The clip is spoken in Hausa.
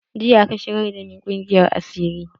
Jiya aka shigar da ni ƙungiyar asiri.